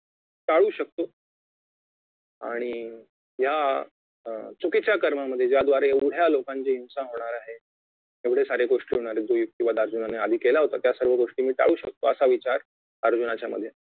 टाळू शकतो आणि या चुकीच्या कर्मामध्ये ज्याद्वारे एवढ्या लोकांचे हिंसा होणार आहे एवढे सारे गोष्टी होणार आहे जो युक्तिवाद अर्जुनानी आधी केला होता त्यासर्व गोष्टी मी टाळू शकतो असा विचार अर्जुनाच्या मध्ये